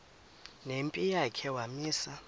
nempi yakhe wamisa